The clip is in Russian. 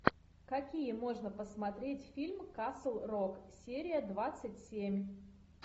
какие можно посмотреть фильм касл рок серия двадцать семь